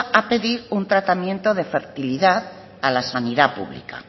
a pedir un tratamiento de fertilidad a la sanidad pública